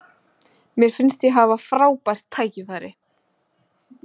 Mér finnst ég hafa frábært tækifæri.